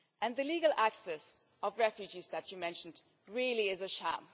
The legal access of refugees that you mentioned really is a sham.